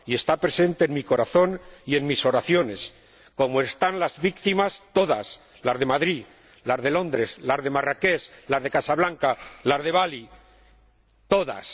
está presente en mi corazón y en mis oraciones como lo están las víctimas, todas las de Madrid, las de Londres, las de Marrakech, las de Casablanca, las de Bali todas.